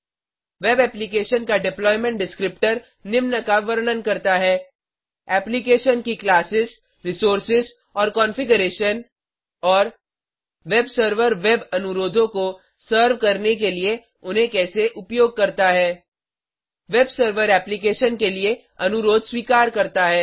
web application का deployment descriptor निम्न का वर्णन करता है एप्लीकेशन की क्लासेज़ रिसोर्सेज़ और कॉन्फ़िग्रेशन और वेब सर्वर वेब अनुरोधों को सर्व करने के लिए उन्हें कैसे उपयोग करता है वेब सर्वर एप्लीकेशन के लिए अनुरोध स्वीकार करता है